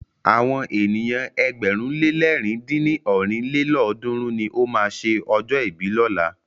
Àwọn ènìyàn ẹgbẹ̀rún le lẹ̀rin dín ní ọ́rin lélọ́ọ̀dúnrún ni o máa ṣe ọjọ́ ìbí lọ́la.